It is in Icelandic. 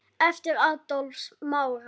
Eftir Adolf Smára.